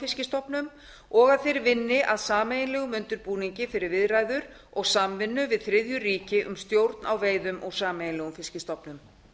fiskstofnum og að þeir vinni að sameiginlegum undirbúningi fyrir viðræður og samvinnu við þriðju ríki um stjórn á veiðum úr sameiginlegum fiskstofnum